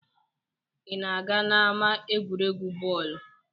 ị na-aga n'ama egwuregwu bọọlụ?